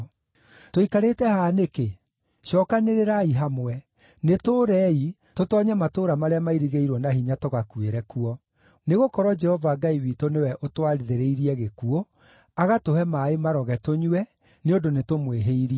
“Tũikarĩte haha nĩkĩ? Cookanĩrĩrai hamwe! Nĩtũũrei, tũtoonye matũũra marĩa mairigĩirwo na hinya tũgakuĩre kuo! Nĩgũkorwo Jehova Ngai witũ nĩwe ũtwathĩrĩirie gĩkuũ, agatũhe maaĩ maroge tũnyue, nĩ ũndũ nĩtũmwĩhĩirie.